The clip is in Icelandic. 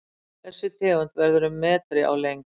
þessi tegund verður um metri á lengd